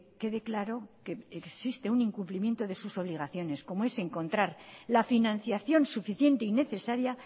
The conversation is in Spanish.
quede claro que existe un incumplimiento de sus obligaciones como es encontrar la financiación suficiente y necesaria